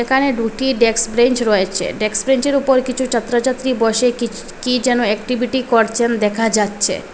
এখানে দুটি desks bench রয়েচে ডেক্স ব্রেনচ -এর উপর কিচু চাত্রচাত্রি বসে কিছ কী যেন একটিভিটি করচেন দেখা যাচ্ছে।